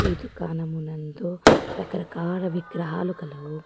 ఈ దుకాణమునందు రకరకాల విగ్రహాలు కలవు.